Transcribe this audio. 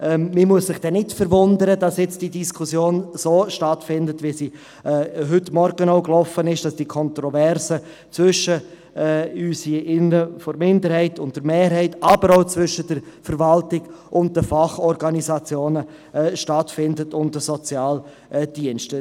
Man muss sich dann nicht wundern, wenn jetzt die Diskussion so stattfindet, wie sie heute Morgen gelaufen ist, indem die Kontroverse hier im Saal zwischen der Minderheit und der Mehrheit stattfindet, aber auch zwischen der Verwaltung, den Fachorganisationen und den Sozialdiensten.